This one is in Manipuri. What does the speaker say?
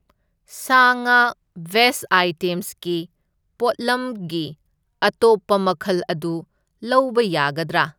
ꯁꯥ ꯉꯥ ꯚꯦꯖ ꯑꯥꯢꯇꯦꯝꯁꯀꯤ ꯄꯣꯠꯂꯝꯒꯤ ꯑꯇꯣꯞꯄ ꯃꯈꯜ ꯑꯗꯨ ꯂꯧꯕ ꯌꯥꯒꯗ꯭ꯔꯥ?